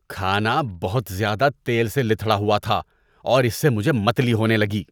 کھانا بہت زیادہ تیل سے لتھڑا ہوا تھا اور اس سے مجھے متلی ہونے لگی۔